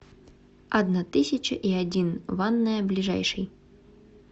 одна тысяча и один ванная ближайший